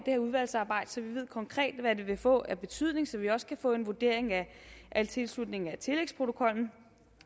her udvalgsarbejde så vi konkret ved hvad det vil få af betydning så vi også kan få en vurdering af tilslutningen til tillægsprotokollen